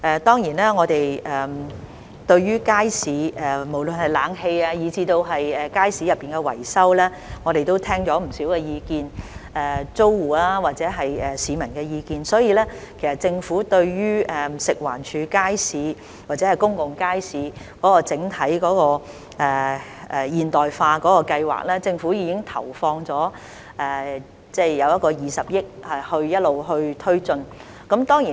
對於無論是街市的冷氣以至維修，我們也聽到不少意見，包括租戶或市民的意見，所以政府已經在食環署街市或公共街市整體現代化計劃投放20億元，一直推進有關計劃。